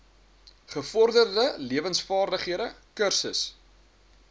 gevorderde lewensvaardighede kursus